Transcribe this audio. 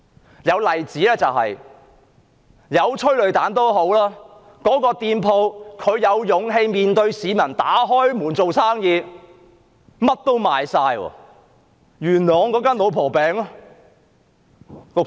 有一個例子，就是即使有催淚彈，雖然店鋪有勇氣面對市民，繼續營業，結果所有商品都沽清。